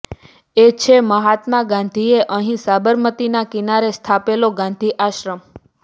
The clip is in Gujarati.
એ છે મહાત્મા ગાંધીએ અહીં સાબરમતીના કિનારે સ્થાપેલો ગાંધી આશ્રમ